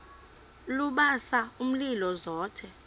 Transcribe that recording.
lubasa umlilo zothe